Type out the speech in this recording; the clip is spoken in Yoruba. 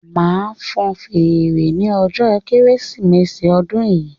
Máa fan fèrè ní ọjọ kérésìmesì odun yìí